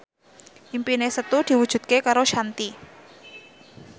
impine Setu diwujudke karo Shanti